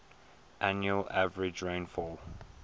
annual average rainfall